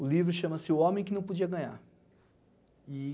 O livro chama-se O Homem Que Não Podia Ganhar. E